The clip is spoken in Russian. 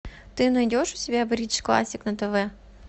ты найдешь у себя бридж классик на тв